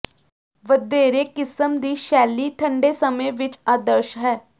ਵਧੇਰੇ ਕਿਸਮ ਦੀ ਸ਼ੈਲੀ ਠੰਡੇ ਸਮੇਂ ਵਿਚ ਆਦਰਸ਼ ਹੈ